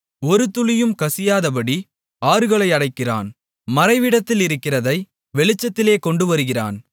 ஒரு துளியும் கசியாதபடி ஆறுகளை அடைக்கிறான் மறைவிடத்திலிருக்கிறதை வெளிச்சத்திலே கொண்டுவருகிறான்